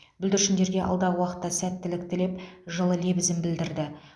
бүлдіршіндерге алдағы уақытта сәттілік тілеп жылы лебізін білдірді